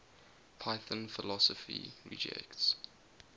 python philosophy rejects